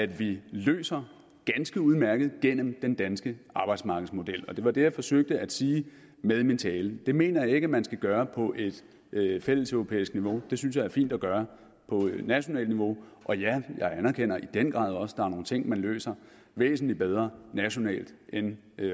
vi løser ganske udmærket gennem den danske arbejdsmarkedsmodel det var det jeg forsøgte at sige med min tale det mener jeg ikke man skal gøre på et fælleseuropæisk niveau det synes jeg er fint at gøre på et nationalt niveau og ja jeg anerkender i den grad også at der er nogle ting man løser væsentlig bedre nationalt end